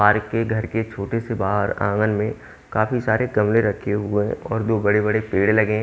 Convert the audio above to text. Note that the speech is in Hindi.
आर के घर के छोटे से बाहर आंगन में काफी सारे गमले रखे हुए हैं और दो बड़े बड़े पेड़ लगे--